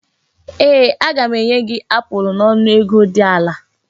Ee! Aga m enye gị apụl n'ọnụ ego dị ala.